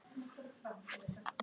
Kaffi og meðlæti fyrir alla.